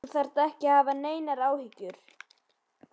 Þú þarft ekki að hafa neinar áhyggjur.